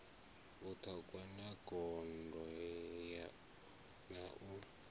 vhuṱhogwa ya gondo na u